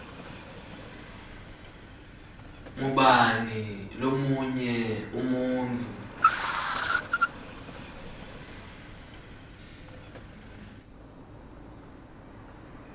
ngubani lomunye umuntfu